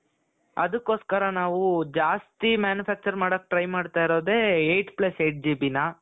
ಅದಕ್ಕೋಸ್ಕರ ನಾವು ಜಾಸ್ತಿ manufacture ಮಾಡಕ್ಕೆ try ಮಾಡ್ತಾ ಇರೋದೆ eight plus eight GBನ